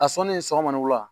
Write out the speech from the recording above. A sɔnni sɔgɔma ni wula